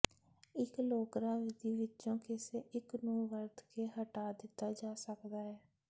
ਇੱਕ ਲੋਕਰਾ ਵਿਧੀ ਵਿੱਚੋਂ ਕਿਸੇ ਇੱਕ ਨੂੰ ਵਰਤ ਕੇ ਹਟਾ ਦਿੱਤਾ ਜਾ ਸਕਦਾ ਹੈ